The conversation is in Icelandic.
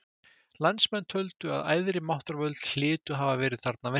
Landsmenn töldu að æðri máttarvöld hlytu að hafa verið þarna að verki.